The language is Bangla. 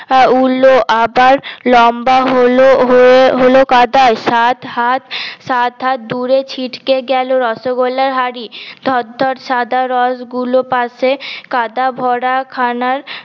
উরল আবার লম্বা হল হয়ে হলো কাঁটা সাত হাত সাত হাত দূরে ছিটকে গেলো রসগোল্লার হাড়ি থর থর সাদা রস গুলো পাশে কাঁটা ভরা খানা